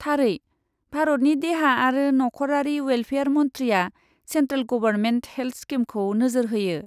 थारै। भारतनि देहा आरो नखरारि वेल्फेयार मन्थ्रिया सेन्ट्रेल गबरमेन्ट हेल्ट स्किमखौ नोजोर होयो।